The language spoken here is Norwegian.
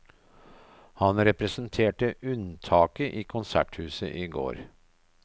Han representerte unntaket i konserthuset i går.